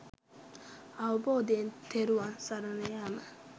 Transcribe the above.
අවබෝධයෙන් තෙරුවන් සරණ යෑම.